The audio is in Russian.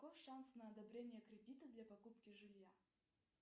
каков шанс на одобрение кредита для покупки жилья